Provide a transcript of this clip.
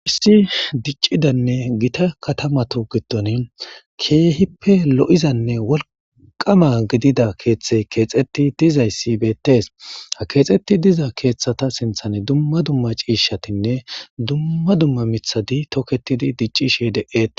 issi diccidanne gita katamatu giddon keehippe lo7izanne wolqama gidida keeththey keexeti dizayssi beettees ha keexetti diza keeththata sinthan dumma dumma ciishatinne dumma dumma mithadi toketidi diccishi de7eti